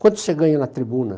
Quanto você ganha na tribuna?